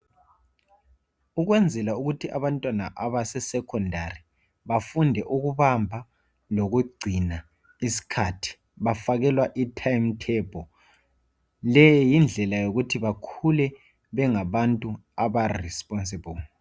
Ukwenzela ukuthi abantwana abase secondary bafunde ukubamba lokugcina isikhathi, bafakelwa i time table. Leyo yindlela yokuthi bakhule bengabantu aba responsible.